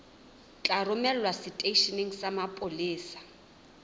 tla romelwa seteisheneng sa mapolesa